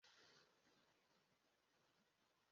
ị maghị na ị na idi ka onye na-agba ara na dada?